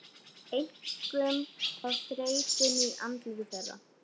Einkum á þreytuna í andliti þeirra.